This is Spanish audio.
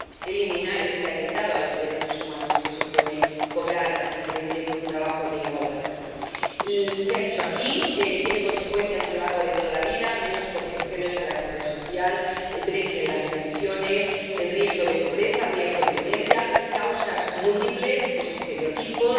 eliminar este atentado contra los derechos humanos que supone cobrar diferente por un trabajo de igual valor. Se ha dicho aquí, tiene consecuencias a lo largo de toda la vida menos cotizaciones a la Seguridad Social, brecha en las pensiones, riesgo de pobreza, riesgo de violencia, causas múltiples, estereotipos.